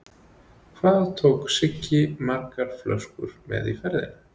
Hvað tók Siggi margar töskur með í ferðina?